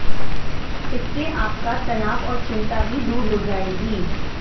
इससे आपका तनाव और चिंता भी दूर हो जाएगी